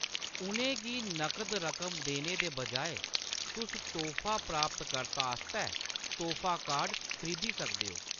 उʼनें गी नगद रकम देने दे बजाए, तुस तोह्‌‌फा प्राप्तकर्ता आस्तै तोह्‌‌फा कार्ड खरीदी सकदे ओ।